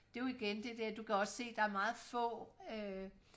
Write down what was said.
det er jo igen det der du kan også se der er meget få øh